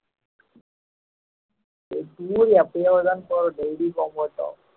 இது tour எப்பயோதுதான் போவோம் daily போக மாட்டோம்